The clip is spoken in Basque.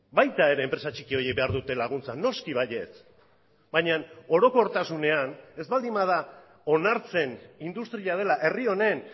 baita ere enpresa txiki horiek behar dute laguntza noski baietz baina orokortasunean ez baldin bada onartzen industria dela herri honen